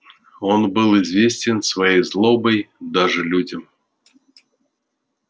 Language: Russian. он был известен своей злобой даже людям